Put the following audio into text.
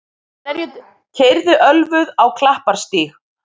Keyrði ölvuð á Klapparstíg